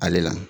Ale la